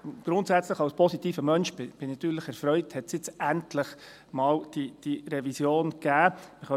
Grundsätzlich, als positiver Mensch, bin ich natürlich erfreut, dass es jetzt endlich mal diese Revision gegeben hat.